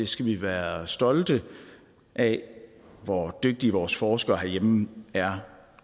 skal være stolte af hvor dygtige vores forskere herhjemme er